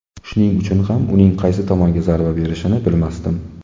Shuning uchun ham uning qaysi tomonga zarba berishini bilmasdim.